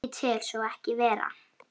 Ég tel svo ekki vera.